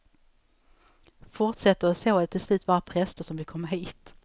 Forsätter det så är det till slut bara präster som vill komma hit.